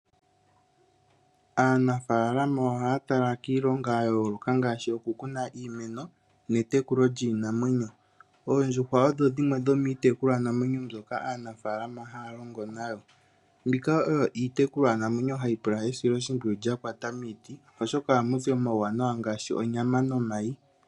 Aanafalama ohaya tala kiilongo ya yooloka ngaashi okukuna iimeno nokutekula iinamwenyo. Oondjuhwa odho dhimwe dhomiitekulwa namwenyo nodha pumbwa esilo oshimpwiyu lya kwata miiti oshoka ohamu zi omayi noshowo onyama.